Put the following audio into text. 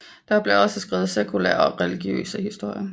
Der blev også skrevet sekulære og religiøse historier